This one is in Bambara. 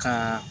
Ka